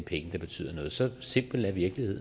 penge der betyder noget så simpel er virkeligheden